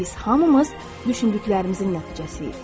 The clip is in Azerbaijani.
Biz hamımız düşündüklərimizin nəticəsiyik.